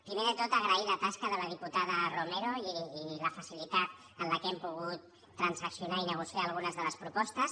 primer de tot agrair la tasca de la diputada romero i la facilitat amb què hem pogut transaccionar i negociar algunes de les propostes